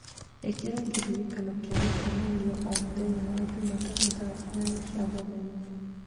ĩkira kĩririkano kĩa mĩcemanio o mũthenya wa Jumatatu thaa inyanya cia mũthenya